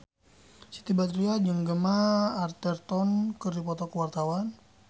Siti Badriah jeung Gemma Arterton keur dipoto ku wartawan